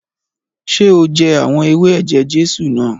Ṣé o jẹ àwọn ewé ẹ̀jẹ̀ Jésù náà?